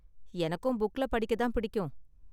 எனக்கும் புக்ல படிக்க தான் பிடிக்கும்.